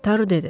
Taru dedi.